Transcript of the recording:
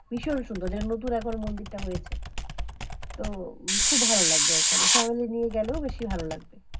ভীষণ সুন্দর যেটা নতুন এখন মন্দিরটা হয়েছে তো খুব ভালো লাগবে ওখানে family নিয়ে গেলেও বেশি ভালো লাগে